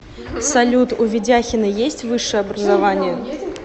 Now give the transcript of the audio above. салют у ведяхина есть высшее образование